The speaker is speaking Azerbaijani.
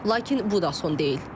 Lakin bu da son deyil.